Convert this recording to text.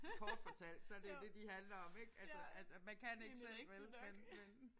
Kort fortalt så er det det de handler om ik altså at man kan ikke selv vel men men